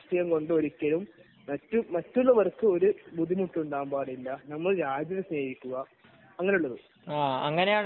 അപ്പോൾ നമ്മൾ ചിന്തിക്കേണ്ടത് രാഷ്ട്രീയം കൊണ്ട് മറ്റുള്ളവർക്ക് ബുദ്ധിമുട്ടുണ്ടാവരുത് . നമ്മൾ രാജ്യത്തെ സേവിക്കുക